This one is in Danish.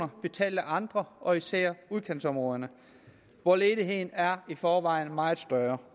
betalt af andre og især af udkantsområderne hvor ledigheden i forvejen er meget større